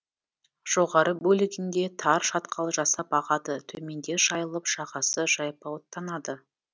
жоғары бөлігінде тар шатқал жасап ағады төменде жайылып жағасы жайпауыттанады